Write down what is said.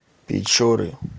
печоры